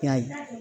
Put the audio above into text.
I y'a ye